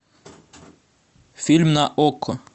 фильм на окко